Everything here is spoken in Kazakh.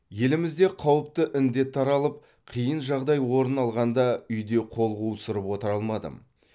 елімізде қауіпті індет таралып қиын жағдай орын алғанда үйде қол қусырып отыра алмадым